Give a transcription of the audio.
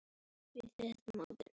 Guðjón lagði áherslu á ljóðin.